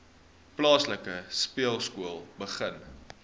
plaaslike speelskool begin